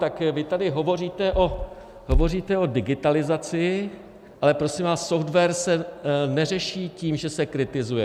Tak vy tady hovoříte o digitalizaci, ale prosím vás, software se neřeší tím, že se kritizuje.